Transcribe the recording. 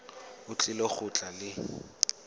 o tlile go tla le